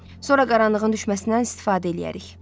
Sonra qaranlığın düşməsindən istifadə eləyərik.